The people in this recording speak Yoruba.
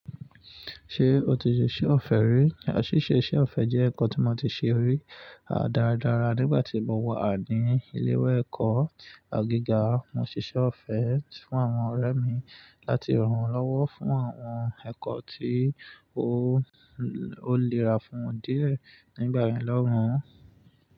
Ṣé o ti ṣiṣẹ́ ọ̀fẹ́ rí? Ṣíṣe iṣẹ́ ọ̀fẹ́ jẹ́ ẹ̀kọ́ tí mo ti ṣe rí, a dára dára nígbà tí mo wà ní ilé ìwé ẹ̀kọ́ gíga. Mo ṣiṣẹ́ ọ̀fẹ́ fún àwọn ọ̀rẹ́ mi láti rànwọ́n lówó fún àwọn ẹ̀kọ́ tí ó lẹ́ra fún díẹ̀ nígbà mìíràn lọ́hùn-ún.